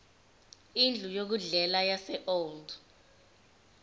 indlu yokudlela yaseold